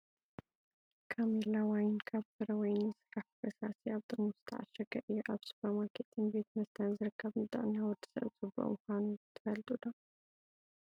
ካሜላ ዋይን ካብ ፍረ ወይኒ ዝስራሕ ብፈሳሲ ኣብ ጥርሙዝ ዝተዓሸገ እዩ። ኣብ ሱፐርማርኬትን ቤት መስተን ዝርከብ ንጥዕና ወዲ ሰብ ፅቡቅ ምኳኑ ትፈልጡ ዶ ?